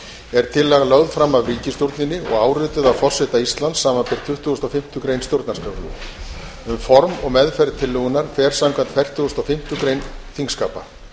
er tillagan lögð fram af ríkisstjórninni og árituð af forseta íslands samanber tuttugustu og fimmtu grein stjórnarskrárinnar um form og meðferð tillögunnar fer samkvæmt fertugustu og fimmtu grein þingskapa